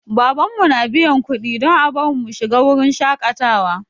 Babanmu na biyan kuɗi don a bar mu mu shiga wurin shaƙatawa.